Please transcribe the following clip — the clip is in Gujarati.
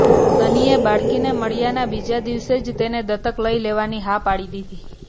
સનીએ બાળકીને મળ્યાના બીજા દિવસે જ તેને દત્તક લઈ લેવાની હા પાડી દીધી